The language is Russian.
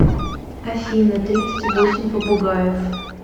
афина тридцать восемь попугаев